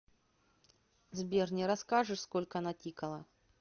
сбер не расскажешь сколько натикало